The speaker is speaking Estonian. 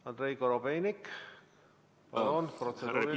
Andrei Korobeinik, palun, protseduuriline!